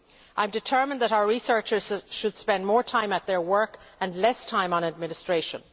I am determined that our researchers should spend more time at their work and less time on administration.